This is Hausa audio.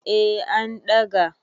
eh an ɗaga